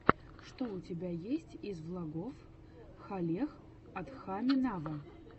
что у тебя есть из влогов халех адхами нава